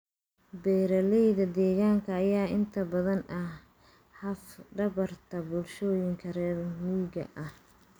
Beeralayda deegaanka ayaa inta badan ah laf-dhabarta bulshooyinka reer miyiga ah.